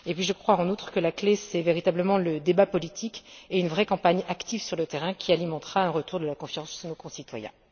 et puis je crois, en outre, que la clé, c'est véritablement le débat politique, et une vraie campagne active sur le terrain, qui alimentera un retour de la confiance chez nos concitoyens.